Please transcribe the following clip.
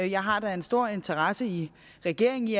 jeg har da en stor interesse i regeringen i